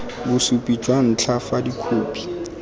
bosupi jwa ntlha fa dikhopi